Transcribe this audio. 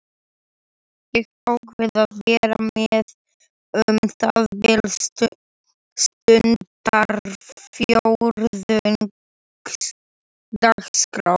Ég ákvað að vera með um það bil stundarfjórðungs dagskrá.